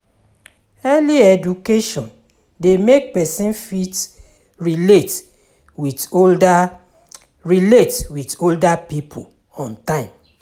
Early education de make persin fit relate with older relate with older pipo on time